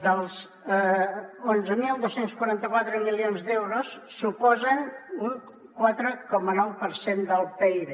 els onze mil dos cents i quaranta quatre milions d’euros suposen un quatre coma nou per cent del pib